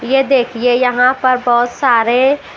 ये देखिए यहां पर बहुत सारे--